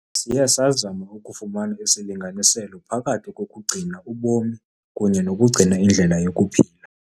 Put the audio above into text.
Siye sazama ukufumana isilinganiselo phakathi kokugcina ubomi kunye nokugcina indlela yokuphila.